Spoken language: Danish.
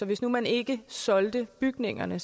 hvis nu man ikke solgte bygningerne